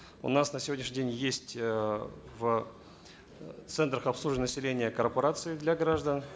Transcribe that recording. у нас на сегодняшний день есть э в центрах обслуживания населения корпорации для граждан